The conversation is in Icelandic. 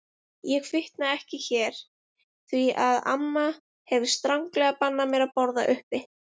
Ég fitna ekki hér því að amma hefur stranglega bannað mér að borða uppi.